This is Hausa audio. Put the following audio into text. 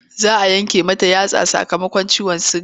Za a yanke mata yatsa sakamakon ciwon suga.